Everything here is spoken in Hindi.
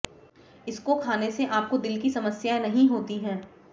इसको खाने से आपको दिल की समस्याएं नहीं होती है